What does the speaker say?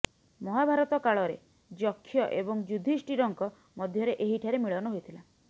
ମହାଭାରତ କାଳରେ ଯକ୍ଷ ଏବଂ ଯୁଧିଷ୍ଠିରଙ୍କ ମଧ୍ୟରେ ଏହିଠାରେ ମିଳନ ହୋଇଥିଲା